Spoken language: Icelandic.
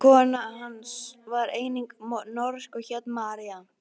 Kona hans var einnig norsk og hét María.